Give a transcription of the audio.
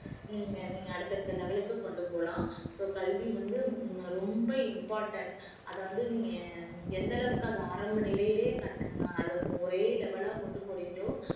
நீங்க நீங்க அடுத்தடுத்த level க்கு கொண்டு போலாம் so கல்வி வந்து ரொம்ப important அத வந்து நீங்க எந்தளவுக்கு அத ஆரம்ப நிலையிலேயே கண்~ அத ஒரே level ஆ கொண்டு போறீங்களோ